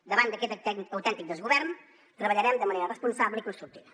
davant d’aquest autèntic desgovern treballarem de manera responsable i constructiva